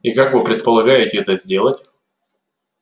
и как вы предполагаете это сделать